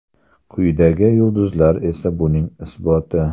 Quyidagi yulduzlar esa buning isboti.